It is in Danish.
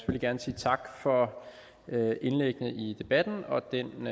gerne sige tak for indlæggene i debatten og den